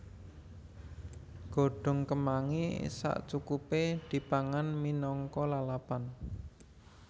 Godhong kemangi sacukupé dipangan minangka lalapan